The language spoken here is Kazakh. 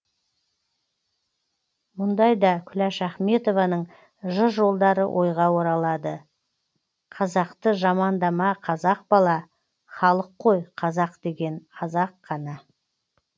мұндайда күләш ахметованың жыр жолдары ойға оралады қазақты жамандама қазақ бала халық қой қазақ деген аз ақ қана